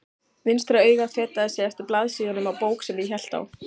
Vinstra augað fetaði sig eftir blaðsíðunum á bók sem ég hélt á.